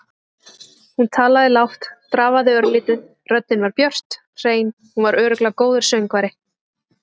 Hún talaði lágt, drafaði örlítið, röddin var björt, hrein- hún var örugglega góður söngvari.